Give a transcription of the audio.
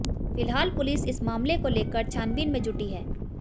फिलहाल पुलिस इस मामले को लेकर छानबीन में जुटी है